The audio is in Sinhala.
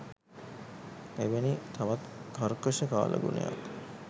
එවැනි තවත් කර්කශ කාලගුණයක්